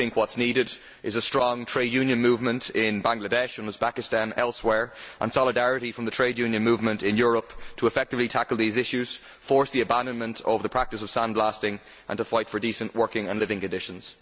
What is needed is a strong trade union movement in Bangladesh, Uzbekistan and elsewhere, and solidarity from the trade union movement in Europe to effectively tackle these issues, force the abandonment of the practice of sandblasting and to fight for decent working and living conditions.